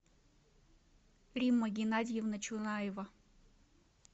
римма геннадьевна чунаева